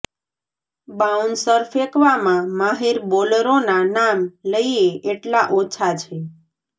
bouncer ફેંકવામાં માહિર બોલરોના નામ લઈએ એટલા ઓછા છે